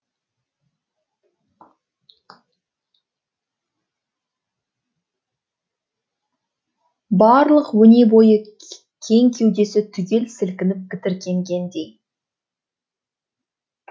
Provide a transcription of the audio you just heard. барлық өне бойы кең кеудесі түгел сілкініп тітіркенгендей